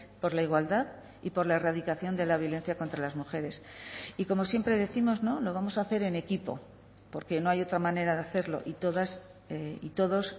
por la igualdad y por la erradicación de la violencia contra las mujeres y como siempre décimos lo vamos a hacer en equipo porque no hay otra manera de hacerlo y todas y todos